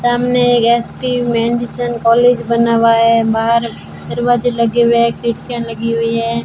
सामने एक S P Madison college बना हुआ है बाहर दरवाजे लगे हुए है खिड़कियां लगी हुई हैं।